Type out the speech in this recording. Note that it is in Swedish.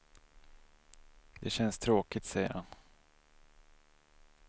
Det känns tråkigt, säger han.